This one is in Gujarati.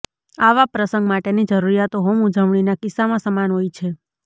આવા પ્રસંગ માટેની જરૂરિયાતો હોમ ઉજવણીના કિસ્સામાં સમાન હોય છે